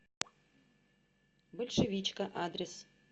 большевичка адрес